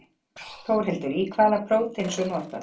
Þórhildur, í hvað er þetta prótein svo notað?